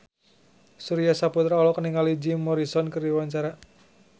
Surya Saputra olohok ningali Jim Morrison keur diwawancara